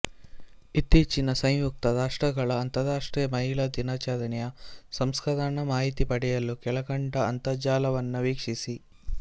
ಇತ್ತೀಚಿನ ಸಂಯುಕ್ತ ರಾಷ್ಟ್ರಗಳ ಅಂತರಾಷ್ಟ್ರೀಯ ಮಹಿಳಾ ದಿನಾಚರಣೆಯ ಸಂಸ್ಕರಣ ಮಾಹಿತಿಪಡೆಯಲು ಕೆಳಕಂಡ ಅಂತರ್ಜಾಲವನ್ನ ವೀಕ್ಷಿಸಿ